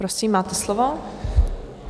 Prosím, máte slovo.